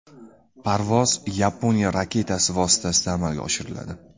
Parvoz Yaponiya raketasi vositasida amalga oshiriladi.